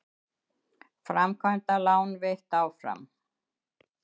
Framkvæmdalán veitt áfram